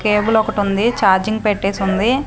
కేబులొకటుంది charging పెట్టేసుంది.